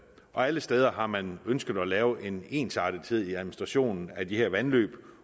og alle steder har man ønsket at lave en ensartethed i administrationen af de her vandløb